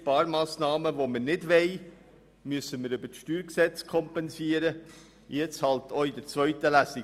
Sparmassnahmen, die wir nicht haben wollen, müssen wir über das StG kompensieren, wenn nötig eben im Rahmen der zweiten Lesung.